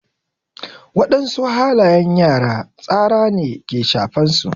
Wadansu halayen yara tsara ne ke shafan su.